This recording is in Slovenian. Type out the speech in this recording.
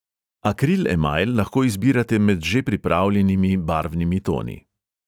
Akril emajl lahko izbirate med že pripravljenimi barvnimi toni.